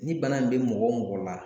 Ni bana in be mɔgɔ o mɔgɔ la